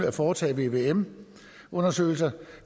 at foretage vvm undersøgelser